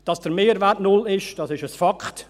Dass der Mehrwert null ist, das ist ein Fakt.